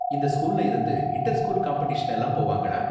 இந்த ஸ்கூல்ல இருந்து இன்டர் ஸ்கூல் காம்படிஷன்லாம் போவாங்களா